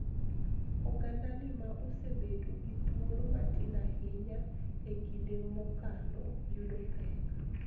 Ogandani ma osebedo gi thuolo matin ahinya e kinde mokalo yudo pek